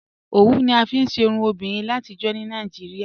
Ọwù ni a fíí ṣè irùn obìnrin làtíjọ̀ ní Nàìjíríà